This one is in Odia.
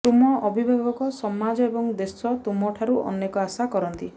ତୁମ ଅଭିଭାବକ ସମାଜ ଏବଂ ଦେଶ ତୁମଠାରୁ ଅନେକ ଆଶା କରନ୍ତି